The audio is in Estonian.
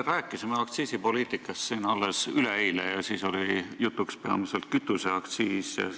Me rääkisime aktsiisipoliitikast siin alles üleeile, siis oli jutuks peamiselt kütuseaktsiis ja